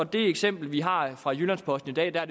det eksempel vi har fra jyllands posten i dag er